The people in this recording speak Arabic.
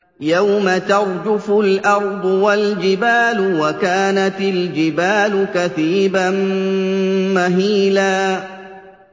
يَوْمَ تَرْجُفُ الْأَرْضُ وَالْجِبَالُ وَكَانَتِ الْجِبَالُ كَثِيبًا مَّهِيلًا